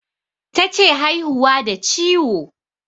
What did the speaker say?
Tace haihuwa da ciwo